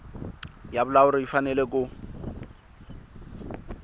ya vulawuli yi fanele ku